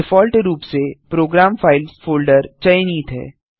default रूप से program files folder चयनित है